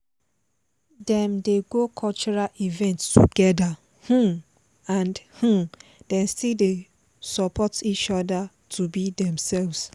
dem dey go cultural event together um and um dem still dey support each other to be demselves